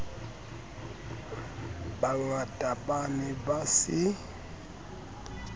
bangata ba ne ba se